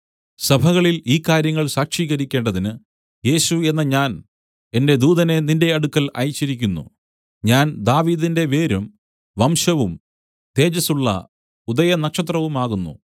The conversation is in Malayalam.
സഭകളിൽ ഈ കാര്യങ്ങൾ സാക്ഷീകരിക്കേണ്ടതിന് യേശു എന്ന ഞാൻ എന്റെ ദൂതനെ നിന്റെ അടുക്കൽ അയച്ചിരിക്കുന്നു ഞാൻ ദാവീദിന്റെ വേരും വംശവും തേജസ്സുള്ള ഉദയനക്ഷത്രവുമാകുന്നു